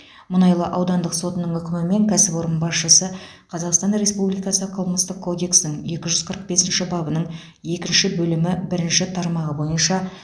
мұнайлы аудандық сотының үкімімен кәсіпорын басшысы қазақстан республикасы қылмыстық кодексінің екі жүз қырық бесінші бабының екінші бөлімі бірінші тармағы бойынша